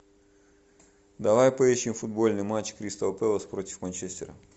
давай поищем футбольный матч кристал пэлас против манчестера